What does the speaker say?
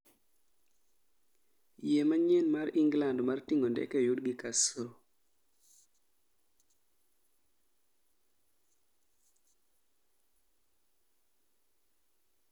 Yie manyien mar England mar ting'o ndeke oyud gi kasro